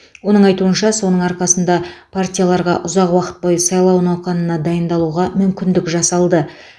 оның айтуынша соның арқасында партияларға ұзақ уақыт бойы сайлау науқанына дайындалуға мүмкіндік жасалды